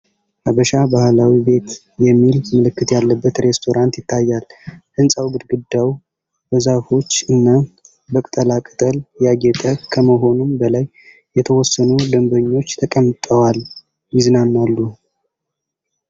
“ሀበሻ ባህላዊ ቤት” የሚል ምልክት ያለበት ሬስቶራንት ይታያል። ህንጻው ግድግዳው በዛፎች እና በቅጠላቅጠል ያጌጠ ከመሆኑም በላይ የተወሰኑ ደንበኞች ተቀምጠዋል ይዝናናሉ።